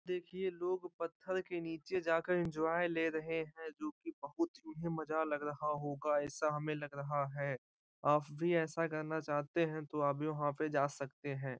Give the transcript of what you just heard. देखिए लोग पत्थर के नीचे जाकर एन्जॉय ले रहे है जो कि बहुत ही उन्हें मज़ा लग रहा होगा ऐसा हमे लग रहा है आप भी ऐसा करना चाहते है तो आप भी वहां पे जा सकते हैं।